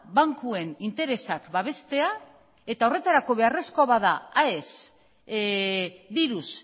bankuen interesak babestea eta horretarako beharrezkoa bada aes diruz